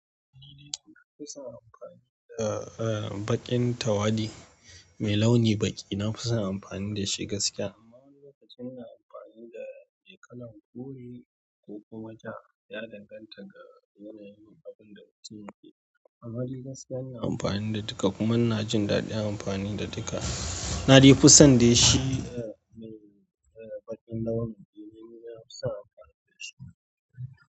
Nidai nafison amfani da, eh baƙin tawadi. Mai launi baƙi. Nafison amfani dashi gaskiya. Amma wani lokacin ina amfani da mai kalan kore ko kuma ja. Ya danganta da yanayin abunda mutum ya. Amma dai gaskiya ina amfani da duka kuma ina jindaɗin amfani da duka na dai fison dai shi me bakin launin domin nafison amfani dashi.